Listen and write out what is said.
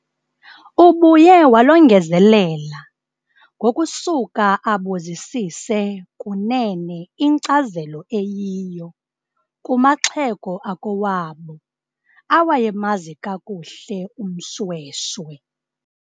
Ubuye walongezelela ngokusuka abuzisise kunene inkcazelo eyiyo kumaxhego akowabo awayemazi kakuhle uMShweshwe.